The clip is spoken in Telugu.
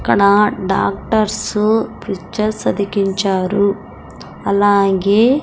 అక్కడ డాక్టర్స్ పిక్చర్స్ అతికించారు. అలాగే --